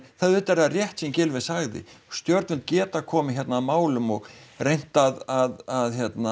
auðvitað er það rétt sem Gylfi sagði stjórnvöld geta komið hérna að málum og reynt að